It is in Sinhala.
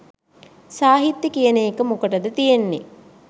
සාහිත්‍ය කියන එක මොකටද තියෙන්නෙ